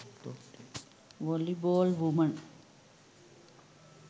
volleyball woman